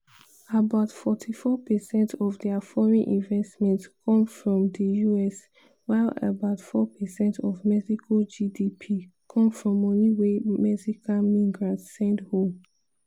about 44 percent of dia foreign investment come from di us while about 4 percent of mexico gdp come from money wey mexican migrants send home.